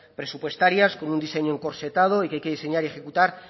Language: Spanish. presupuestarias con un diseño encorsetado y que hay que diseñar y ejecutar